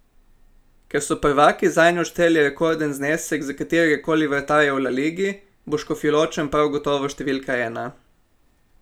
Ker so prvaki zanj odšteli rekorden znesek za katerega koli vratarja v la ligi, bo Škofjeločan prav gotovo številka ena.